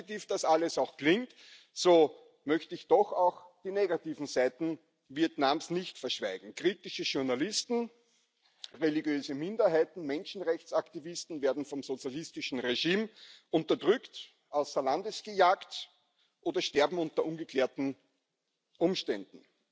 So positiv das alles klingt, so möchte ich doch auch die negativen Seiten Vietnams nicht verschweigen Kritische Journalisten, religiöse Minderheiten, Menschenrechtsaktivisten werden vom sozialistischen Regime unterdrückt, außer Landes gejagt oder sterben unter ungeklärten Umständen.